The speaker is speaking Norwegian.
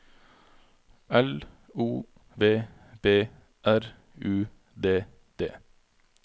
L O V B R U D D